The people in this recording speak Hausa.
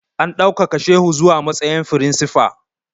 A ɗaukaka shehu zuwa matsayin firinsifa!